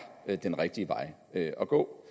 er den rigtige vej at gå